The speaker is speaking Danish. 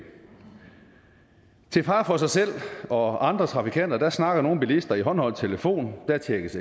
til fare for sig selv og andre trafikanter snakker nogle bilister i håndholdt telefon der tjekkes